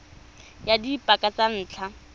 ya ka dipaka tsa ntlha